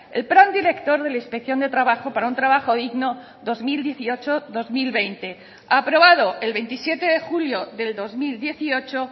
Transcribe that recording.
el plan director de la inspección de trabajo para un trabajo digno dos mil dieciocho dos mil veinte aprobado el veintisiete de julio del dos mil dieciocho